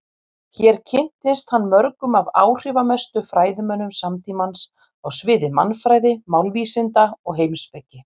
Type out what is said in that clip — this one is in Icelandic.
Hér kynntist hann mörgum af áhrifamestu fræðimönnum samtímans á sviði mannfræði, málvísinda og heimspeki.